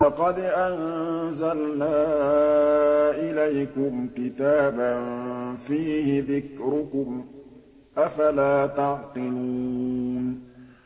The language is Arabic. لَقَدْ أَنزَلْنَا إِلَيْكُمْ كِتَابًا فِيهِ ذِكْرُكُمْ ۖ أَفَلَا تَعْقِلُونَ